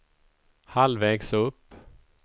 halvvägs upp